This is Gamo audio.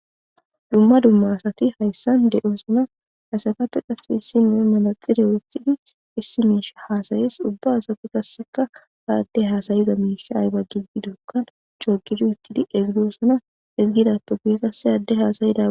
Dumma dumma asati hayssan de7o suna asakappe qasse hissinme malaxideoethidi issi miisha haasayis ubba asati qasseka haadde haasayiza miisha ayba gigi dokkan chogidu ittidi ezigoosona izgidappopiye qasse aadde haasayida.